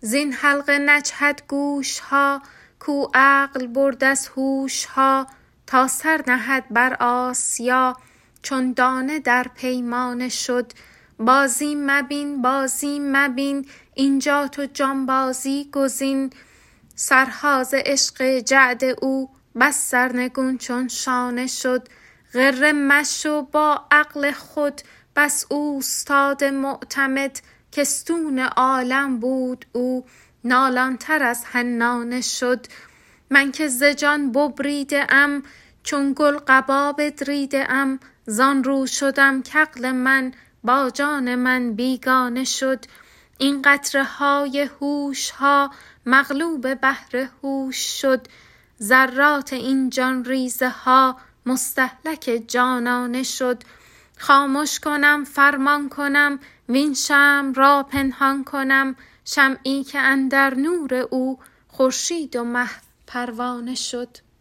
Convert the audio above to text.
زین حلقه نجهد گوش ها کاو عقل برد از هوش ها تا سر نهد بر آسیا چون دانه در پیمانه شد بازی مبین بازی مبین اینجا تو جانبازی گزین سرها ز عشق جعد او بس سرنگون چون شانه شد غره مشو با عقل خود بس اوستاد معتمد که استون عالم بود او نالان تر از حنانه شد من که ز جان ببریده ام چون گل قبا بدریده ام زان رو شدم که عقل من با جان من بیگانه شد این قطره های هوش ها مغلوب بحر هوش شد ذرات این جان ریزه ها مستهلک جانانه شد خامش کنم فرمان کنم وین شمع را پنهان کنم شمعی که اندر نور او خورشید و مه پروانه شد